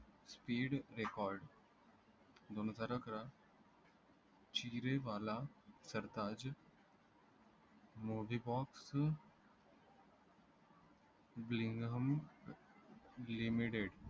SPEED RECORD दोन हजार अकरा चिरे बाला सरताज box BLINGUM LIMITED